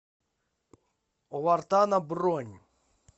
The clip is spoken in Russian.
у вартана бронь